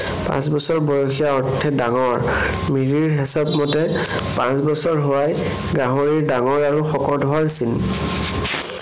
পাঁচ বছৰ বয়সীয়া অৰ্থে ডাঙৰ। মিৰিৰ হেচাপ মতে পাঁচ বছৰ হোৱাই গাহৰিৰ ডাঙৰ আৰু শকত হোৱাৰ চিন।